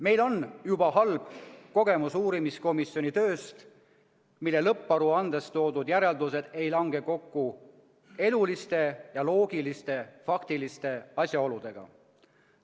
Meil on juba halb kogemus uurimiskomisjoni tööst, mille lõpparuandes toodud järeldused ei lange kokku eluliste ja loogiliste faktiliste asjaoludega.